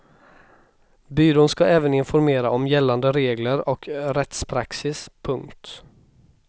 Byrån ska även informera om gällande regler och rättspraxis. punkt